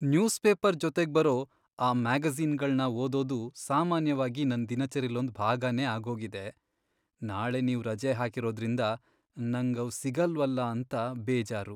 News paper ಜೊತೆಗ್ಬರೋ ಆ ಮ್ಯಾಗಜೀ಼ನ್ಗಳ್ನ ಓದೋದು ಸಾಮಾನ್ಯವಾಗಿ ನನ್ ದಿನಚರಿಲೊಂದ್ ಭಾಗನೇ ಆಗೋಗಿದೆ. ನಾಳೆ ನೀವ್ ರಜೆ ಹಾಕಿರೋದ್ರಿಂದ ನಂಗ್ ಅವ್ ಸಿಗಲ್ವಲ ಅಂತ ಬೇಜಾರು.